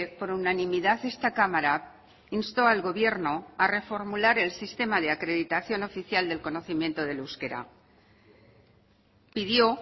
por unanimidad esta cámara instó al gobierno a reformular el sistema de acreditación oficial del conocimiento del euskera pidió